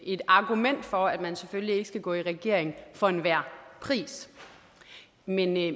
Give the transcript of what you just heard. et argument for at man selvfølgelig ikke skal gå i regering for enhver pris men jeg